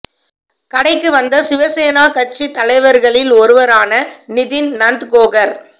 கடைக்கு வந்த சிவசேனா கட்சி தலைவர்களில் ஒருவரான நிதின் நந்த்கோகர்